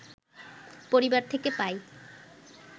পরিবার থেকে পাই